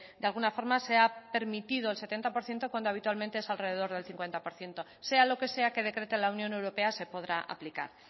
de alguna forma se ha permitido el setenta por ciento cuando habitualmente es alrededor del cincuenta por ciento sea lo que sea que decrete la unión europea se podrá aplicar